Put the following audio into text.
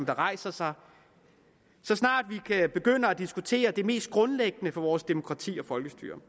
rejser sig så snart vi begynder at diskutere det mest grundlæggende for vores demokrati og folkestyre